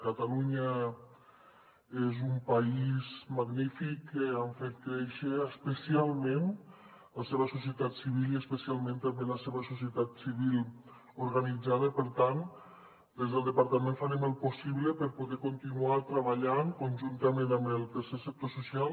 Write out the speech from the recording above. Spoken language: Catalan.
catalunya és un país magnífic que ha fet créixer especialment la seva societat civil i especialment també la seva societat civil organitzada per tant des del departament farem el possible per poder continuar treballant conjuntament amb el tercer sector social